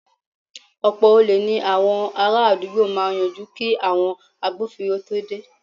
Ọ̀pọ̀ olè ní àwọn ará àdúgbò máa yanjú kí àwọn agbófinró tó dé